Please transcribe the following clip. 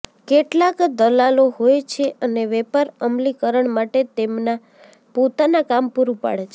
કેટલાક દલાલો હોય છે અને વેપાર અમલીકરણ માટે તેમના પોતાના કામ પૂરું પાડે છે